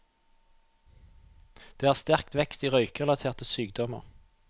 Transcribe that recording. Det er sterk vekst i røykerelaterte sykdommer.